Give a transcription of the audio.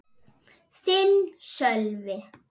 Þinn, Sölvi.